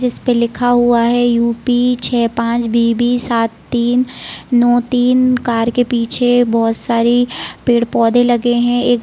जिसपे लिखा हुआ है यू पी छे पांच बी बी सात तीन नो तीन | कार के पीछे बहुत सारे पेड़-पौधे लगे हैं | एक --